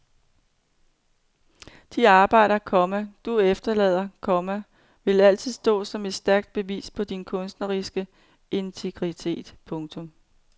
De arbejder, komma du efterlader, komma vil altid stå som et stærkt bevis på din kunstneriske integritet. punktum